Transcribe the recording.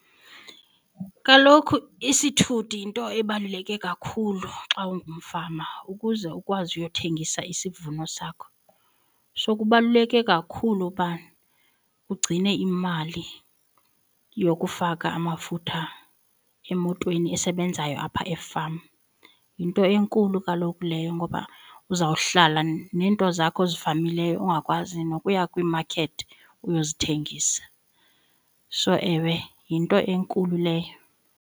Kaloku isithuthi yinto ebaluleke kakhulu xa ungumfama ukuze ukwazi uyothengisa isivuno sakho. So kubaluleke kakhulu uba ugcine imali yokufaka amafutha emotweni esebenzayo apha efama. Yinto enkulu kaloku leyo ngoba uzawuhlala neento zakho ozifamileyo ungakwazi nokuya kwiimakethi uyozithengisa. So ewe yinto enkulu leyo.